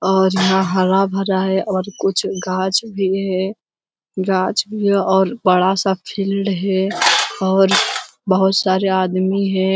और यहाँ हरा-भरा है और कुछ गाछ भी है । गाछ और बड़ा सा फील्ड है और बोहोत सारे आदमी है ।